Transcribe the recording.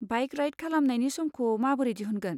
Bike ride खालामनायनि समखौ माबोरै दिहुनगोन?